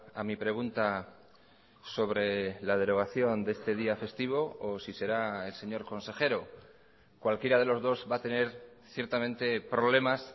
a mi pregunta sobre la derogación de este día festivo o si será el señor consejero cualquiera de los dos va a tener ciertamente problemas